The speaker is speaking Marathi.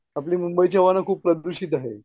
आपली मुंबईची हवा ना खूप प्रदूषित आहे.